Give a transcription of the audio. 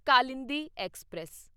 Kalindi express